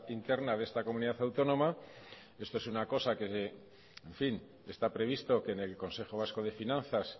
interna de esta comunidad autónoma esto es una cosa que en fin está previsto que en el consejo vasco de finanzas